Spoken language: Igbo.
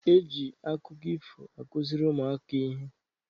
Eji akụkọ ifo akụziri ụmụaka ihe.